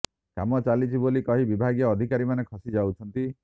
କାମ ଚାଲିଛି ବୋଲି କହି ବିଭାଗୀୟ ଅଧିକାରୀମାନେ ଖସି ଯାଉଛନ୍ତି